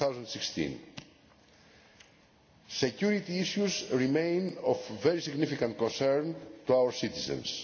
2016. Security issues remain of very significant concern to our citizens.